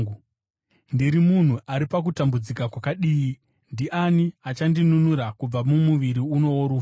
Ndiri munhu ari pakutambudzika kwakadii! Ndiani achandinunura kubva mumuviri uno worufu?